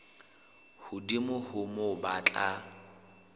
hodimo ho moo ba tla